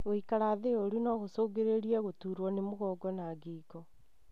Guikara thĩ ũru no gũcungĩrĩrie gũturuo nĩ mugongo na ngingo.